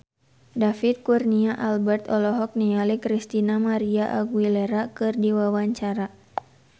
David Kurnia Albert olohok ningali Christina María Aguilera keur diwawancara